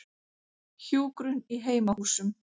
Hjúkrun í heimahúsum.